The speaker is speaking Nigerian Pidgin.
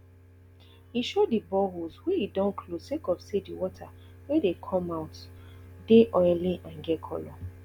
e show di boreholes wey e don close sake of say di water wey dey come out dey oily and get colour